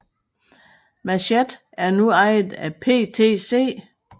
Mathcad er nu ejet af PTC